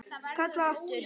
Kalla aftur.